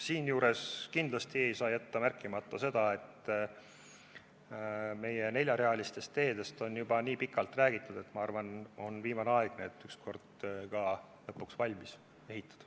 Siinjuures ei saa kindlasti märkimata jätta seda, et meie neljarealistest teedest on juba nii pikalt räägitud, et minu arvates on viimane aeg need lõpuks valmis ehitada.